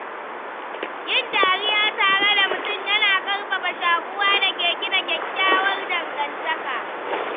Yin dariya tare da mutum yana ƙarfafa shaƙuwa da ke gina kyakkyawar dangantaka.